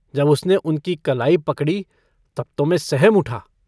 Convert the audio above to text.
जब उसने उनकी कलाई पकड़ी तब तो मैं सहम उठा।